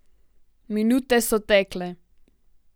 Minute so tekle.